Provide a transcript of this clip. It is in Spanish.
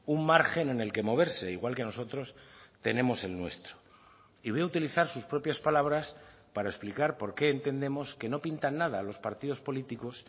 un margen en el que moverse igual que nosotros tenemos el nuestro y voy a utilizar sus propias palabras para explicar por qué entendemos que no pintan nada los partidos políticos